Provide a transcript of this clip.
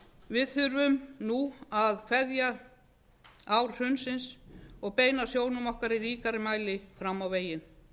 við þurfum nú að kveðja ár hrunsins og beina sjónum okkar í ríkari mæli fram á veginn